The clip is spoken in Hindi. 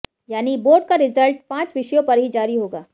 यानी बोर्ड का रिजल्ट पांच विषयों पर ही जारी होगा